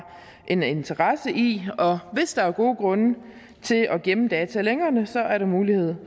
en interesse i og hvis der er gode grunde til at gemme data længere så er der mulighed